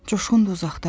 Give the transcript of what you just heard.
Coşqun da uzaqdadır.